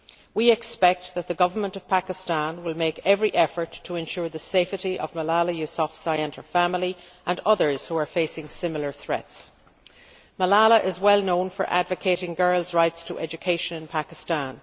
We expect that the Pakistan Government will make every effort to ensure the safety of Malala Yousafzai and her family, and others who are facing similar threats. Malala is well known for advocating girls' rights to education in Pakistan.